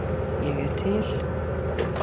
Er ég til?